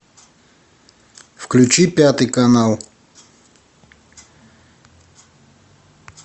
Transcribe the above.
включи пятый канал